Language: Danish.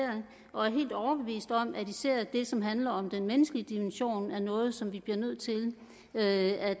og er helt overbeviste om at især det som handler om den menneskelige dimension er noget som vi bliver nødt til at